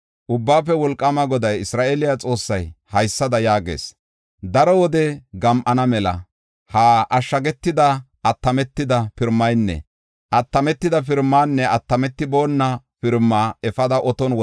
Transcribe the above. ‘Ubbaafe Wolqaama Goday, Isra7eele Xoossay, haysada yaagees: Daro wode gam7ana mela ha ashshagetidi attametida pirimaanne attametiboona pirimaa efada oton wotha.’